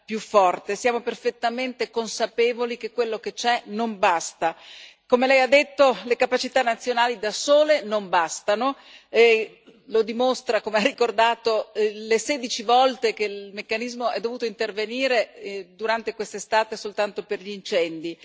più forte. Siamo perfettamente consapevoli che quello che c'è non basta. Come Lei ha detto, le capacità nazionali da sole non bastano e lo dimostrano, come ha ricordato, le 16 volte in cui il meccanismo è dovuto intervenire durante quest'estate soltanto per gli incendi.